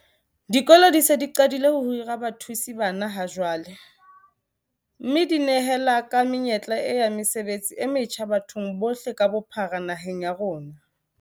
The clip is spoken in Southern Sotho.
Dikolo di se di qadile ho hira bathusi bana ha jwale, mme di nehela ka menyetla e ya mesebetsi e metjha bathong bohle ka bophara naheng ya rona.